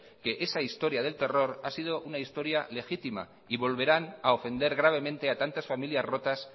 que esa historia del terror ha sido una historia legítima y volverán a ofender gravemente a tantas familias rotas